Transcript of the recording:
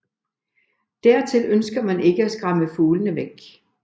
Dertil ønsker man ikke at skræmme fuglene væk